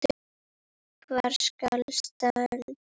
Hvar skal standa?